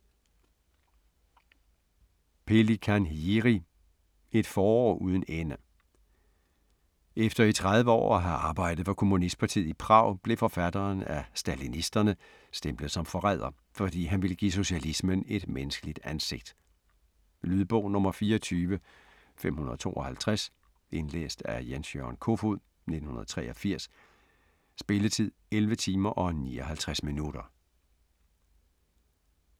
Pelikán, Jiři: Et forår uden ende Efter i 30 år at have arbejdet for kommunistpartiet i Prag blev forfatteren af stalinisterne stemplet som forræder, fordi han ville give socialismen et menneskeligt ansigt. Lydbog 24552 Indlæst af Jens-Jørgen Kofod, 1983. Spilletid: 11 timer, 59 minutter.